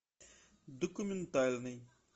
документальный